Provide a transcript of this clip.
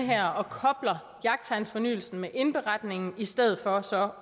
her og kobler jagttegnsfornyelsen med indberetningen i stedet for så